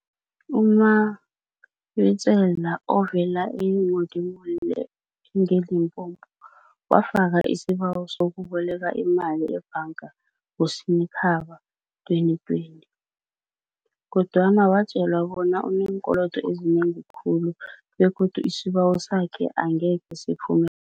U-Mabitsela, ovela e-Modi molle enge-Limpopo, wafaka isibawo sokuboleka imali ebhanga ngoSinyikhaba 2020, kodwana watjelwa bona uneenkolodo ezinengi khulu begodu isibawo sakhe akhenge siphume